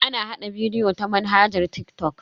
Ana hada bidiyo ta manhajar TikTok.